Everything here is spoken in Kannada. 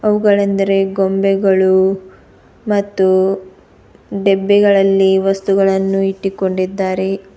ಅವುಗಳೆಂದರೆ ಗೊಂಬೆಗಳು ಮತ್ತು ಡೆಬ್ಬಿಗಳಲ್ಲಿ ವಸ್ತುಗಳನ್ನು ಇಟ್ಟಿಕೊಂಡಿದ್ದಾರೆ.